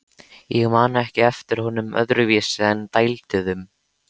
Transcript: Ég man ekki eftir honum öðruvísi en dælduðum.